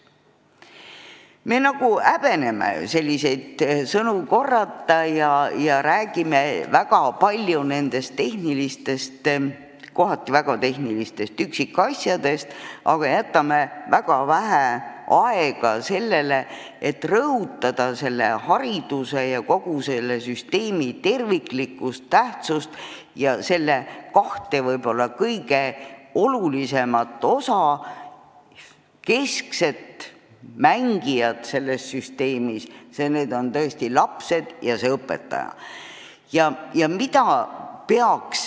Me nagu häbeneme selliseid sõnu korrata ja räägime väga palju tehnilistest, kohati väga tehnilistest üksikasjadest, aga jätame väga vähe aega sellele, et rõhutada hariduse ja kogu selle süsteemi terviklikkust, tähtsust ja selle kahte võib-olla kõige olulisemat osa, keskseid mängijaid selles süsteemis: need on lapsed ja õpetajad.